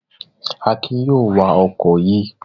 Akin yóò wa ọkọ̀ yìí